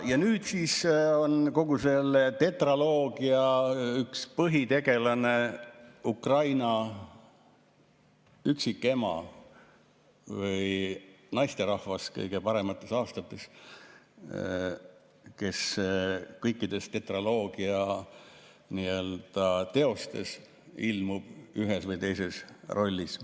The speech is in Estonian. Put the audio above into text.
Ja nüüd siis on kogu selle tetraloogia üks põhitegelane Ukraina üksikema või naisterahvas kõige paremates aastates, kes kõikides tetraloogia teostes ilmub ühes või teises rollis.